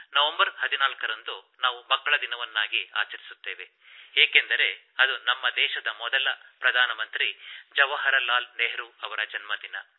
November 14 ನ್ನು ರಂದು ನಾವು ಮಕ್ಕಳ ದಿನವನ್ನಾಗಿ ಆಚರಿಸುತ್ತೇವೆ ಏಕೆಂದರೆ ಅದು ನಮ್ಮ ದೇಶದ ಮೊದಲ ಪ್ರಧಾನ ಮಂತ್ರಿ ಜವಾಹರ್ ಲಾಲ್ ನೆಹರು ಅವರ ಜನ್ಮ ದಿನ